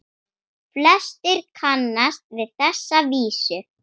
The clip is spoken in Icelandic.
Flestir kannast við þessa vísu